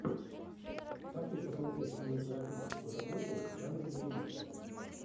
хочу посмотреть кинематографическую работу в жанре боевик